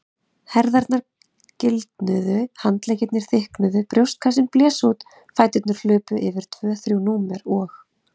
Herðarnar gildnuðu, handleggirnir þykknuðu, brjóstkassinn blés út, fæturnir hlupu yfir tvö þrjú númer og.